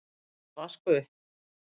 þú átt að vaska upp.